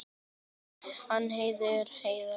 En Heiða var alsæl.